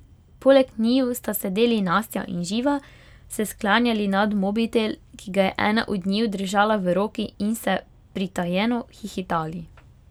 Poleg njiju sta sedeli Nastja in Živa, se sklanjali nad mobitel, ki ga je ena od njiju držala v roki, in se pritajeno hihitali.